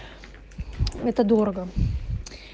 это дорого